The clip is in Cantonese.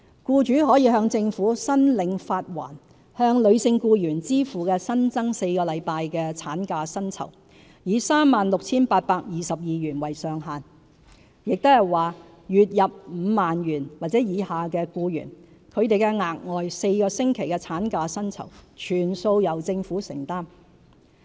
僱主可向政府申領發還向女性僱員支付的新增4星期產假薪酬，以 36,822 元為上限，即是說月入 50,000 元或以下的僱員，她們的額外4星期產假薪酬全數由政府承擔。